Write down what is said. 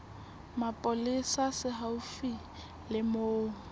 mapolesa se haufi le moo